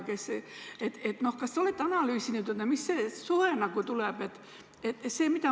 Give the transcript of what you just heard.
Kas te olete analüüsinud, mis suhe nagu niimoodi tuleb?